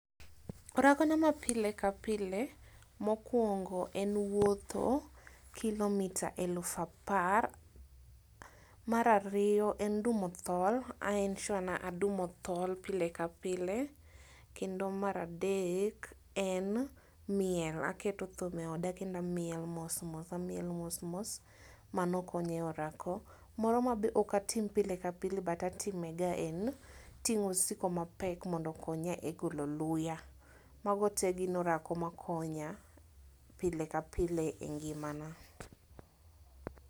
Orako na ma pile kapile mokuongo en wuotho kilomita eluf apar. Mar ariyo en dumo tol aneno ni adumo tol pile ka pile kendo mar adek en miel aketo thum e oda kendo amiel mos mos amiel mos mos mano konya e orako. Moro ma be ok atim pile ka pile but atime ga en ting'o osigo mapek mondo okonya e golo luya . Mago te gin orako ma konya pile ka pile e ngimana .